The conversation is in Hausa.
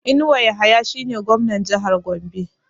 Inuwa Yahaya shi ne Gwamnan Jahar Gombe